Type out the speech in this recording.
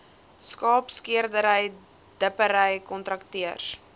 skaapskeerdery dippery kontrakteurs